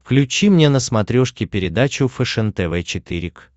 включи мне на смотрешке передачу фэшен тв четыре к